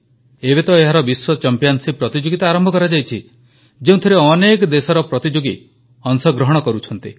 ଏବେ ତ ଏହାର ବିଶ୍ୱ ଚମ୍ପିଆନ୍ସିପ୍ ପ୍ରତିଯୋଗିତା ଆରମ୍ଭ କରାଯାଇଛି ଯେଉଁଥିରେ ଅନେକ ଦେଶର ପ୍ରତିଯୋଗୀ ଅଂଶଗ୍ରହଣ କରୁଛନ୍ତି